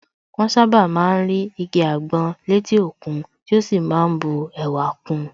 Wọ́n sàbá má ń rí igi àgbọn létí òkun tí ó sì má ń bu ẹwà kun